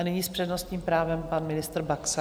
A nyní s přednostním právem pan ministr Baxa.